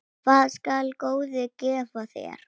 Hvað skal góði gefa þér?